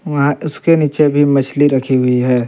वहां उसके नीचे भी मछली रखी हुई है।